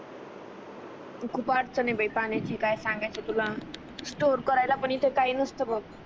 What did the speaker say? खूप अडचण आहे बाई पाण्याची काय सांगायचं तुला स्टोर करायला पण इथ काही नसत बघ